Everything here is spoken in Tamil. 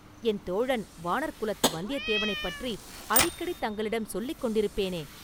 என் தோழன் வாணர்குலத்து வந்தியத்தேவனைப் பற்றி அடிக்கடி தங்களிடம் சொல்லிக் கொண்டிருப்பேனே?